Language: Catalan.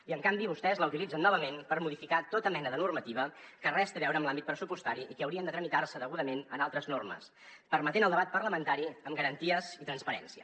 i en canvi vostès la utilitzen novament per modificar tota mena de normativa que res té a veure amb l’àmbit pressupostari i que hauria de tramitar se degudament en altres normes permetent el debat parlamentari amb garanties i transparència